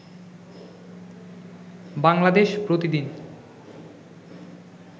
বাংলাদেশ প্রতিদিন